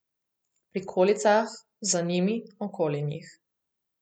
V prikolicah, za njimi, okoli njih.